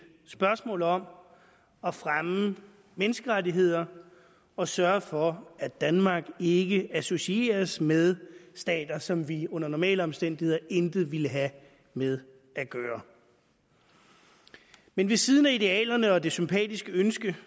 spørgsmål om at fremme menneskerettigheder og sørge for at danmark ikke associeres med stater som vi under normale omstændigheder intet ville have med at gøre men ved siden af idealerne og det sympatiske ønske